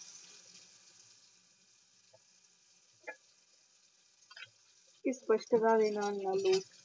ਇਸ ਸਪਸ਼ਟਾ ਦੇ ਨਾਲ ਨਾਲ ਹੀ